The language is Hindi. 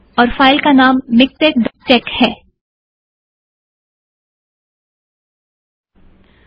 और फाइल का नाम मिक्टेक अपडेट डॉट टेक miktexupdateटेक्स है